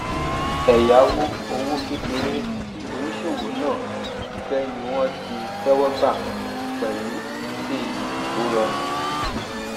ẹyáwó òwò kékeré tí oníṣòwò náà fẹ ní wọn tí tẹwọ gbà pẹlú èlé tó rọrùn